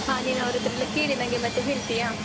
ಹಾ ನೀನ್ ಅವರ್ಹತ್ರೆಲ್ಲ ಕೇಳಿ ನಂಗೆ ಮತ್ತೇ ಹೇಳ್ತಿಯಾ?